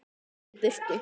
Rekur mig í burtu?